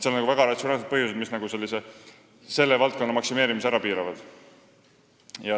On väga ratsionaalseid põhjusi, mis selle valdkonna maksimeerimist piiravad.